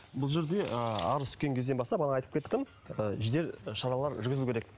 бұл жерде ы арыз түскен кезден бастап бағана айтып кеттім ы жедел шаралар жүргізілуі керек